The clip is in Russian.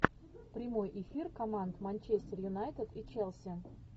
прямой эфир команд манчестер юнайтед и челси